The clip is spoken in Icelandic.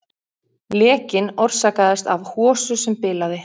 Lekinn orsakaðist af hosu sem bilaði